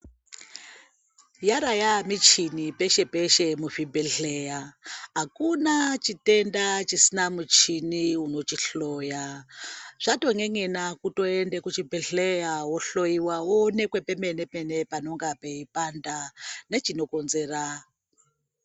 Yara yamichini peshe peshe muzvibhedhlera, akuna chitenda chisina muchini unochihloya. Zvaton'en'ena kutoenda kuchibhedhleya woonekwe pemene mene panenge peyipanda nechinokonzera.